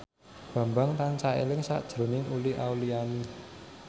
Bambang tansah eling sakjroning Uli Auliani